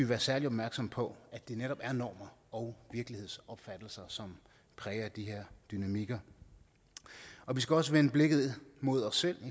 være særlig opmærksomme på at det netop er normer og virkelighedsopfattelser som præger de her dynamikker og vi skal også vende blikket mod os selv